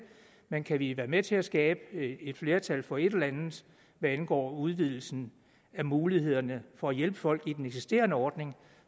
men kan vi være med til at skabe et flertal for et eller andet hvad angår udvidelsen af mulighederne for at hjælpe folk i den eksisterende ordning